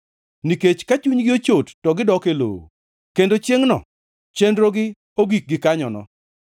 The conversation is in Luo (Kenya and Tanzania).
nikech ka chunygi ochot to gidok e lowo; kendo chiengʼono chenrogi ogik gikanyono.